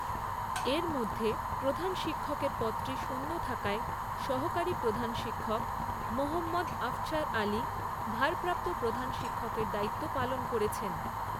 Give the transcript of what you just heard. এর মধ্যে প্রধান শিক্ষকের পদটি শূন্য থাকায় সহকারী প্রধান শিক্ষক মোহম্মদ আফছার আলী ভারপ্রাপ্ত প্রধান শিক্ষকের দায়িত্ব পালন করছেন।